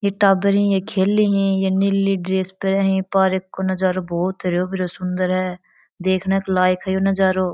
ये टाबर है ये खेले है ये नीली ड्रेस पहने है पार्क को नजारों बहुत हरो भरो सुन्दर है ये नजरो देखने लायक है यो नजारों।